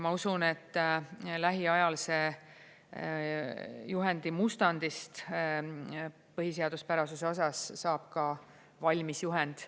Ma usun, et lähiajal sellest juhendi mustandist põhiseaduspärasuse osas saab ka valmis juhend.